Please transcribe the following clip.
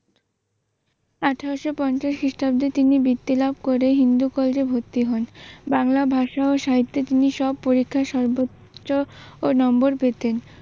আঠারশ পঞ্চাশ খ্রিষ্টাব্দে তিনি বৃত্তি লাভ করে হিন্দু কলেজে ভরতি হন। বাংলা ভাষা ও সাহিত্যে তিনি সব পরীক্ষায় সর্বোচ্চ নম্বর পেতেন।